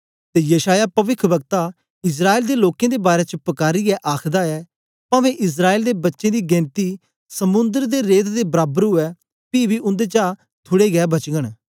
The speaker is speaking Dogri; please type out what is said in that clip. ते यशायाह पविख्वक्ता इस्राएल दे लोकें दे बारै च पकारीयै आखदा ऐ पवें इस्राएल दे बच्चें दी गेनती समुंदर दे रेत् दे बराबर उवै पी बी उन्देचा थुड़े गै बचगन